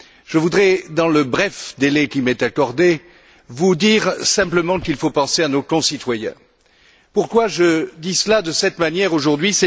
Je voudrais, dans le bref délai qui m'est accordé, vous dire simplement qu'il faut penser à nos concitoyens. Pourquoi dis je cela de cette manière aujourd'hui?